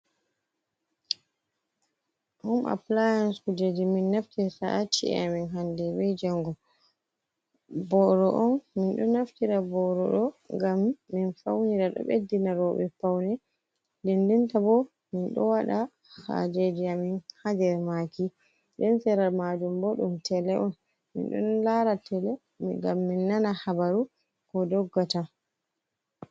Hum appliance kujeji min naftirta ha chie amin, hande be jango boro on min ɗo naftira boro ɗo gam min faunira ɗo beddina roɓe paune dendenta bo min ɗa waɗa hajeji amin ha nder maki, den sera majum bo ɗum tele on, min ɗon lara tele gam min nana habaru ko doggata.